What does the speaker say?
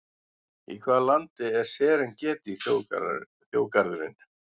Í hvaða landi er Serengeti þjóðgarðurinn?